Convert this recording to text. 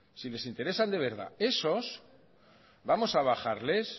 si les interesa de verdad esos vamos a bajarles